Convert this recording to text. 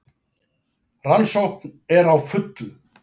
Rannsókn er á fullu